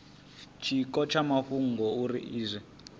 tshiko tsha mafhungo uri izwi